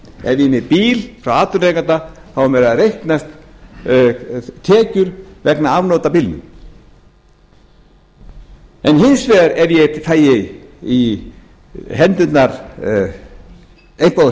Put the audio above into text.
er með bíl frá atvinnurekanda eiga mér að reiknast tekjur vegna afnota af bílnum hins vegar ef ég fæ í hendur eitthvað